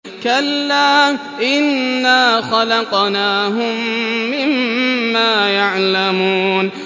كَلَّا ۖ إِنَّا خَلَقْنَاهُم مِّمَّا يَعْلَمُونَ